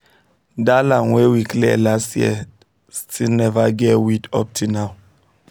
that land wey we clear last year still never get weed up till now